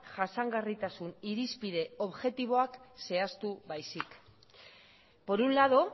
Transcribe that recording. jasangarritasun irizpide objektiboak zehaztu baizik por un lado